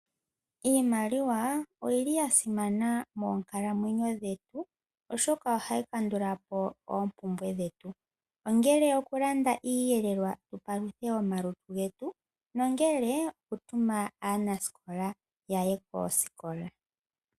Iimaliwa oyili ya simana moonkalamwenyo dhetu oshoka ohayi kandula po oompumbwe dhetu ongele okulanda iiyelelwa tu paluthe omalutu getu nenge okutuma aansikola yaye koosikola.